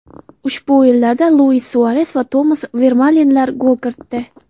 Ushbu o‘yinlarda Luis Suares va Tomas Vermalenlar gol kiritdi.